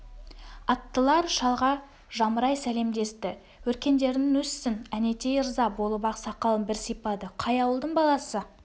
аттылар шалға жамырай сәлемдесті өркендерің өссін әнетей ырза болып ақ сақалын бір сипады қай ауылдың баласы